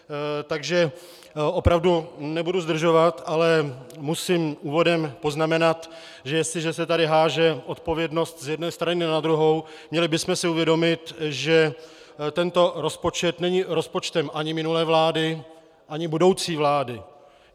Takže opravdu nebudu zdržovat, ale musím úvodem poznamenat, že jestliže se tady hází odpovědnost z jedné strany na druhou, měli bychom si uvědomit, že tento rozpočet není rozpočtem ani minulé vlády, ani budoucí vlády.